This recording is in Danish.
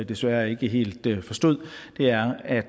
desværre ikke helt forstod er at